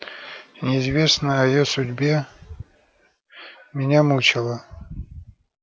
неизвестно о её судьбе меня мучила